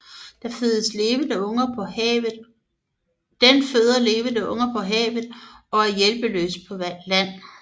Den føder levende unger på havet og er hjælpeløs på land